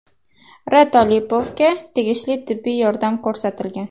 R. Tolipovga tegishli tibbiy yordam ko‘rsatilgan.